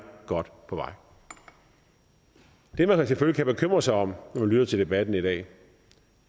godt på vej det man selvfølgelig kan bekymre sig om når man lytter til debatten i dag